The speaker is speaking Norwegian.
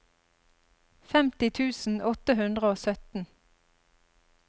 femti tusen åtte hundre og sytten